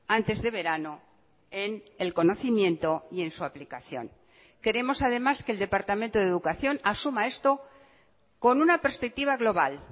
antes de verano en el conocimiento y en su aplicación queremos además que el departamento de educación asuma esto con una perspectiva global